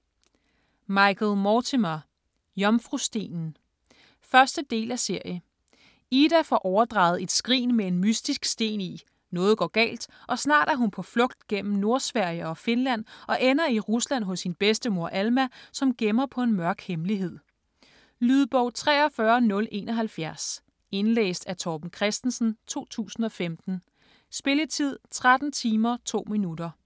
Mortimer, Michael: Jomfrustenen 1. del af serie. Ida får overdraget et skrin med en mystisk sten i, noget går galt, og snart er hun på flugt gennem Nordsverige og Finland og ender i Rusland hos sin bedstemor Alma, som gemmer på en mørk hemmelighed. Lydbog 43071 Indlæst af Torben Christensen, 2015. Spilletid: 13 timer, 2 minutter.